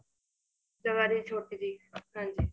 ਚੋਬਾਰੀ ਛੋਟੀ ਜੀ ਹਾਂਜੀ